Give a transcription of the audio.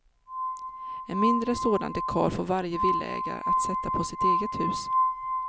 En mindre sådan dekal får varje villaägare att sätta på sitt eget hus.